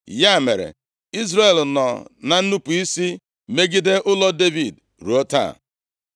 Ya mere, Izrel nọ na nnupu isi megide ụlọ Devid ruo taa.